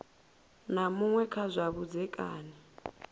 na muṅwe kha zwa vhudzekani